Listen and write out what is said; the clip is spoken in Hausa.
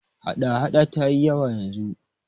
hada- hada ta yi yawa yanzu